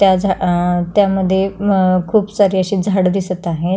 त्या झा अ त्यामध्ये अ खुप सारे अशी झाड दिसत आहे.